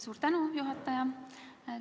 Suur tänu, juhataja!